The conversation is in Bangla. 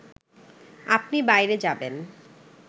আপনি বাইরে যাবেন